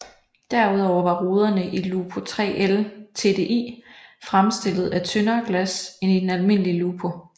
Derudover var ruderne i Lupo 3L TDI fremstillet af tyndere glas end i den almindelige Lupo